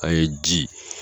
An ye di